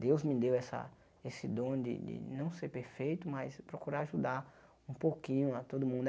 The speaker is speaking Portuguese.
Deus me deu essa esse dom de de não ser perfeito, mas procurar ajudar um pouquinho a todo mundo.